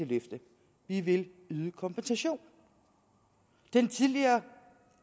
vi vil yde kompensation den tidligere